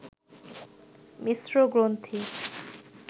মিশ্র গ্রন্থি